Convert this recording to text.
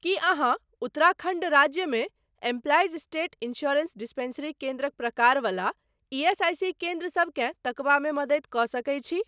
कीअहाँ उत्तराखंड राज्यमे employees state insurance dispensary केन्द्रक प्रकार वला ईएसआईसी केन्द्र सबकेँ तकबामे मदति कऽ सकैत छी?